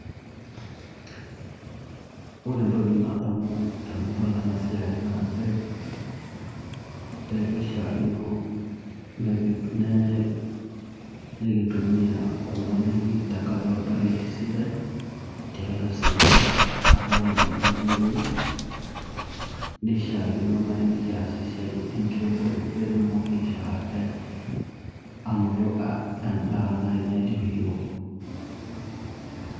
Ore entoki nadamu tenadol ena siai naa nchere kishiaakino nikintumia kuna daiki tenkaraki oldakei sidai tooseseni laang' adolita irmatunda tinewuei, nishiakino naai pee kias esiai enkiremore pee kitumoki aishoo ate anoto endaa nai naidip iyiook.